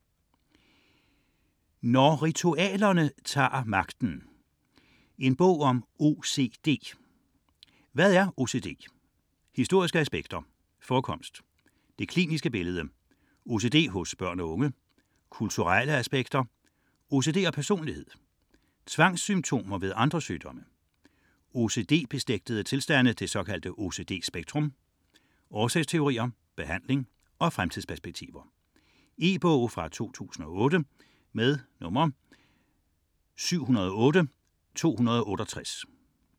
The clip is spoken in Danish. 61.644 Når ritualerne tager magten: en bog om OCD Hvad er OCD?; Historiske aspekter; Forekomst; Det kliniske billede; OCD hos børn og unge; Kulturelle aspekter; OCD og personlighed; Tvangssymptomer ved andre sygdomme; OCD-beslægtede tilstande ("OCD-spektrum"); Årsagsteorier; Behandling; Fremtidsperspektiver. E-bog 708268 2008.